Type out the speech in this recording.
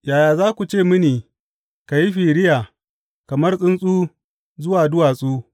Yaya za ku ce mini, Ka yi firiya kamar tsuntsu zuwa duwatsu.